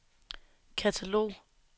katalog